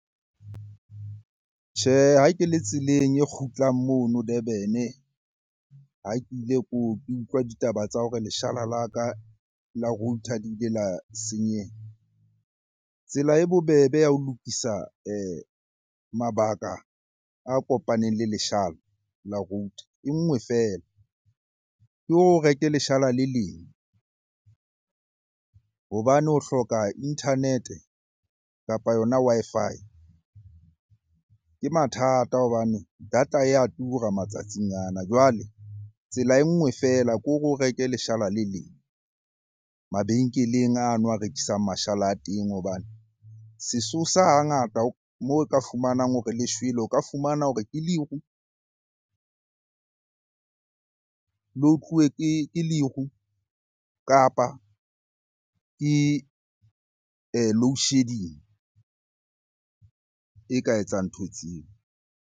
Tjhe, ha ke le tseleng e kgutlang mono Durban-e, ha ke ile ke utlwa ditaba tsa hore leshala la ka la router di ile la senyeha. Tsela e bobebe ya ho lokisa mabaka a kopaneng le leshala la router enngwe feela. Ke hore o reke leshala le leng hobane ho hloka internet-e kapa yona Wi-Fi. Ke mathata hobane data ya tura matsatsing ana, jwale tsela enngwe feela kore o reke leshala le leng mabenkeleng ano a rekisang mashala a teng. Hobane sesosa hangata moo ka fumanang hore le shwele, o ka fumana hore ke leru le otluwe ke leru, kapa ke loadshedding e ka etsang ntho tseo.